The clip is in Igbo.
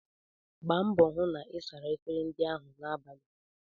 Gba mbọ hụ na ị sara efere ndị ahụ n'abalị!